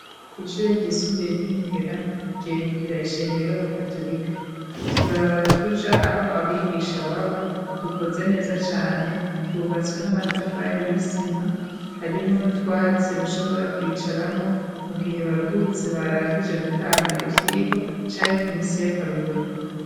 Ishure ryisumbuye, ry'i Mugera, ryegukira ishengero, y'abakatorika; utubarabara tuja, aho abigisha baba, dukoze neza cane; twubatswe n'amatafari, y'isima; harimwo n'utwatsi, bashobora kwicaramwo, mu gihe baruhutse, barangije gutanga ivyigwa, canke ku minsi y'akaruhuko.